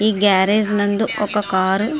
ఈ గ్యార్రాజ్ నందు ఒక కార్ --